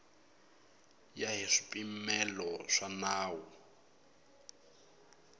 ya hi swipimelo swa nawu